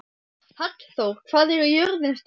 Hallþór, hvað er jörðin stór?